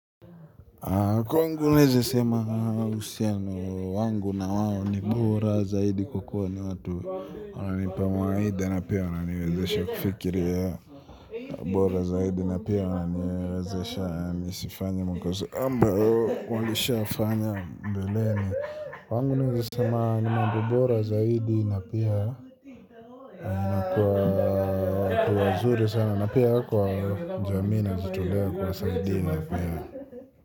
Kwangu naeza sema usiano wangu na wao ni bora zaidi kwa kuwa ni watu wananipa mawaidha na pia wananiwezesha kufikiria bora zaidi na pia wananiwezesha nisifanye makosa ambao walishafanya mbeleni. Kwangu naeza sema ni mambo bora zaidi na pia na kwa watu wazuri sana na pia kwa jamii najitolea kuwasaidi pia.